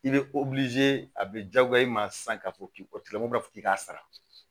I bɛ a bɛ diyagoya i ma sisan k'a fɔ k'i tigɛ mɔgɔ b'a fɔ k'i k'a sara